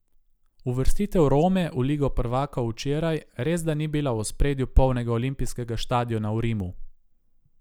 Uvrstitev Rome v ligo prvakov včeraj resda ni bila v ospredju polnega olimpijskega štadiona v Rimu.